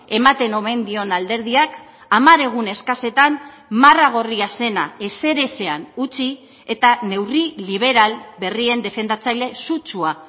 ematen omen dion alderdiak hamar egun eskasetan marra gorria zena ezer ezean utzi eta neurri liberal berrien defendatzaile sutsua